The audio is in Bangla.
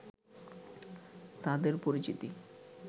তাদের পরিচিতি